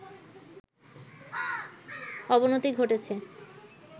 অবনতি ঘটেছে